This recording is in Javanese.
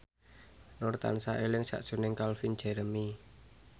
Nur tansah eling sakjroning Calvin Jeremy